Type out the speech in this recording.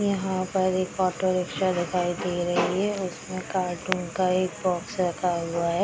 यहाँ पर एक ऑटो रिक्शा दिखाई दे रही है उसमें कार्टून का एक बॉक्स रखा हुआ है।